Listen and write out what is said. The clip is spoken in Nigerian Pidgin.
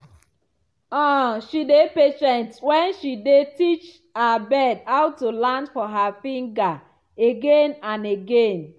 um she dey patient as she dey teach her bird how to land for her finger again and again.